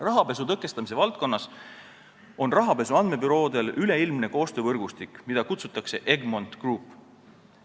Rahapesu tõkestamise valdkonnas on rahapesu andmebüroodel üleilmne koostöövõrgustik, mida kutsutakse Egmont Group.